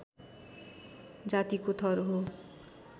जातिको थर हो